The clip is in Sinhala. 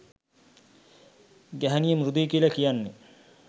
ගැහැනිය මෘදුයි කියලා කියන්නෙ